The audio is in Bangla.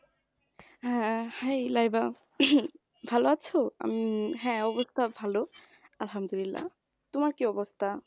হ্যাঁ, hi লাইবা উহ ভালো আছো? হু হ্যাঁ, অবস্থা ভালো আহামদুল্লা, তোমার কি অবস্থা?